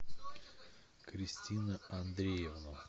кристина андреевна